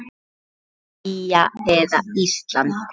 Belgía eða Ísland?